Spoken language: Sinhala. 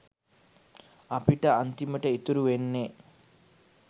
අපිට අන්තිමට ඉතුරු වෙන්නේ.